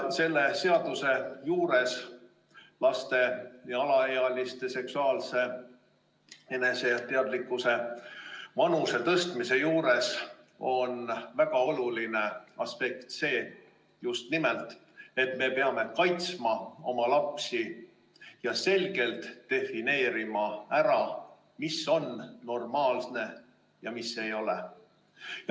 Selle seadusemuudatuse juures, laste ja alaealiste seksuaalse eneseteadlikkuse vanuse tõstmise juures on väga oluline aspekt just nimelt see, et me peame kaitsma oma lapsi ja selgelt defineerima, mis on normaalne ja mis ei ole.